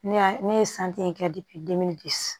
Ne y'a ne ye in kɛ